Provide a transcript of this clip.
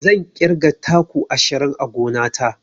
Zan ƙirga taku ashirin a gona ta.